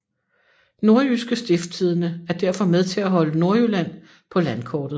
Nordjyske Stiftstidende er derfor med til at holde Nordjylland på landkortet